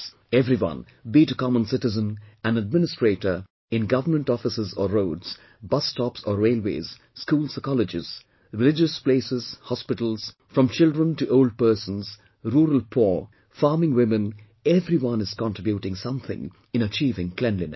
Everyone, be it a common citizen, an administrator, in Government offices or roads, bus stops or railways, schools or colleges, religious places, hospitals, from children to old persons, rural poor, farming women everyone is contributing something in achieving cleanliness